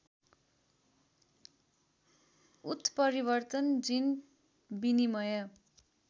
उत्परिवर्तन जिन विनिमय